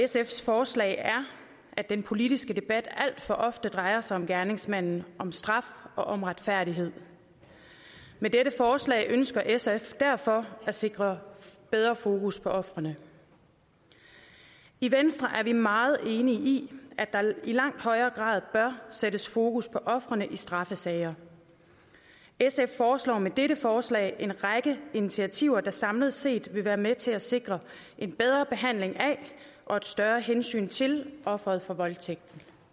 sfs forslag er at den politiske debat alt for ofte drejer sig om gerningsmanden om straf og om retfærdighed med dette forslag ønsker sf derfor at sikre bedre fokus på ofrene i venstre er vi meget enige i at der i langt højere grad bør sættes fokus på ofrene i straffesager sf foreslår med dette forslag en række initiativer der samlet set vil være med til at sikre en bedre behandling af og et større hensyn til ofrene for voldtægt